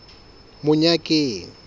monyakeng